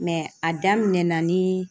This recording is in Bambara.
a daminɛ na ni